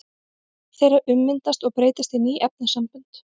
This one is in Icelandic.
Sum þeirra ummyndast og breytast í ný efnasambönd.